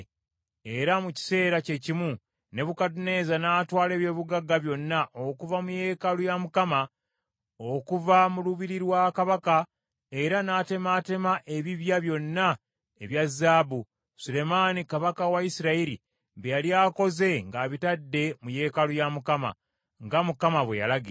Era mu kiseera kye kimu, Nebukadduneeza n’atwala eby’obugagga byonna okuva mu yeekaalu ya Mukama , n’okuva mu lubiri lwa kabaka, era n’atemaatema ebibya byonna ebya zaabu, Sulemaani kabaka wa Isirayiri bye yali akoze ng’abitadde mu yeekaalu ya Mukama , nga Mukama bwe yalagira.